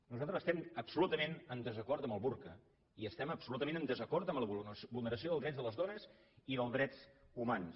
nosaltres estem absolutament en desacord amb el burca i estem absolutament en desacord amb la vulneració dels drets de les dones i dels drets humans